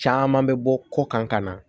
Caman bɛ bɔ ko kan ka na